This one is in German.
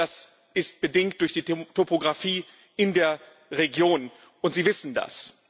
Das ist bedingt durch die Topografie in der Region, und Sie wissen das!